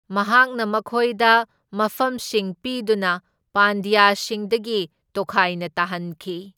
ꯃꯍꯥꯛꯅ ꯃꯈꯣꯏꯗ ꯃꯐꯝꯁꯤꯡ ꯄꯤꯗꯨꯅ ꯄꯥꯟꯗ꯭ꯌꯁꯤꯡꯗꯒꯤ ꯇꯣꯈꯥꯏꯅ ꯇꯥꯍꯟꯈꯤ꯫